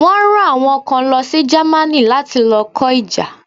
Wọ́n ran àwọn kan lo sí ìlú Germany láti lo kó ìjà